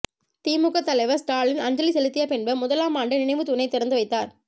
திமுக தலைவர் ஸ்டாலின் அஞ்சலி செலுத்திய பின்பு முதலாம் ஆண்டு நினைவு தூணை திறந்து வைத்தார்